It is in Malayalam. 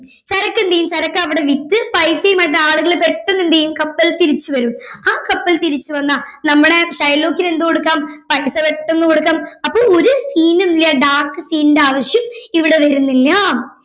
ചരക്ക് എന്ത് ചെയ്യും ചരക്ക് അവിടെ വിറ്റ് പൈസയുമായിട്ട് ആലുകള് പെട്ടെന്ന് എന്ത് ചെയ്യും കപ്പലിൽ തിരിച്ച് വരും ആ കപ്പൽ തിരിച്ചു വന്നാൽ നമ്മടെ ഷൈലോക്കിങ് എന്ത് കൊടുക്കാം പൈസ പെട്ടെന്ന് കൊടുക്കാം അപ്പൊ ഒരു seen ഇല്ല dark seen ൻറെ ആവിശ്യം ഇവിടെ വരുന്നില്ല